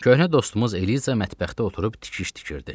Köhnə dostumuz Eliza mətbəxdə oturub tikiş tikirdi.